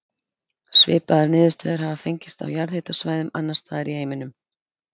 Svipaðar niðurstöður hafa fengist á jarðhitasvæðum annars staðar í heiminum.